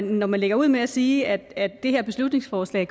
når man lægger ud med at sige at det her beslutningsforslag